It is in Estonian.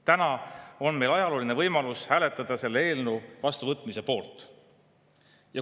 Täna on meil ajalooline võimalus hääletada selle eelnõu vastuvõtmise poolt.